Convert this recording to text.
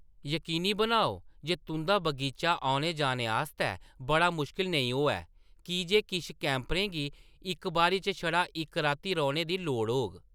यकीनी बनाओ जे तुंʼदा बगीचा औने-जाने आस्तै बड़ा मुश्कल नेईं होऐ, की जे किश कैंपरें गी इक बारी च छड़ा इक राती रौह्‌‌‌ने दी लोड़ होग।